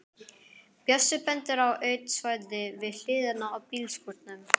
Bjössi bendir á autt svæði við hliðina á bílskúrunum.